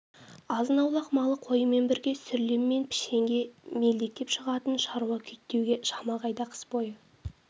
азын-аулақ малы қойымен бірге сүрлем мен пішенге мелдектеп шығатын шаруа күйттеуге шама қайда қыс бойы